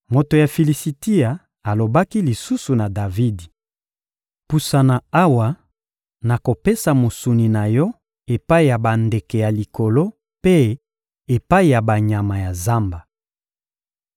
Moto ya Filisitia alobaki lisusu na Davidi: — Pusana awa, nakopesa mosuni na yo epai ya bandeke ya likolo mpe epai ya banyama ya zamba.